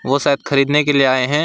वो शायद खरीदने के लिए आए हैं।